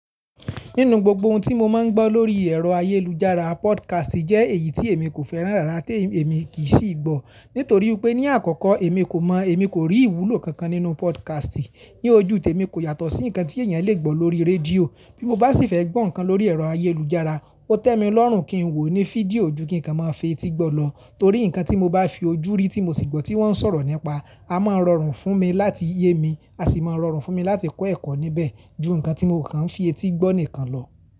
Nínú gbogbo ohun tí mo máa ń gbọ́ lórí ẹ̀rọ ayélujára podcast jẹ́ èyí tí èmi kò fẹ́ràn rárá tí èmi kì í sì gbọ́. Nítorí pé ní àkọ́kọ́ èmi kò mọ̀, èmi kò rí ìwúlò kankan nínú podcast. Ni ojú temi kò yàtọ̀ sí nǹkan tí èèyàn le gbọ́ lórí rédíò. Bí mo bá sì fẹ́ gbọ́ nǹkan lórí ẹ̀rọ ayélujára, ó tẹ́ mi lọ́rùn kí n wò ó ní fídíò ju kí nǹkan máa fi etí gbọ́ lọ. Torí nǹkan tí mo bá fi ojú rí tí mo sì gbọ́ tí wọ́n ń sọ̀rọ̀ nípa, a máa rọrùn fún mi láti yé mi, a sì máa rọrùn fún mi láti kọ́ ẹ̀kọ́ níbẹ̀ ju nǹkan tí mò kan ń fi etí gbọ́ nìkan lọ.